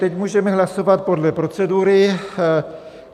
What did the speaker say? Teď můžeme hlasovat podle procedury.